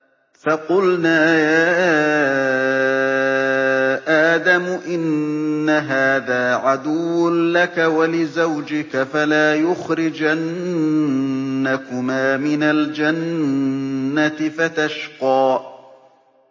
فَقُلْنَا يَا آدَمُ إِنَّ هَٰذَا عَدُوٌّ لَّكَ وَلِزَوْجِكَ فَلَا يُخْرِجَنَّكُمَا مِنَ الْجَنَّةِ فَتَشْقَىٰ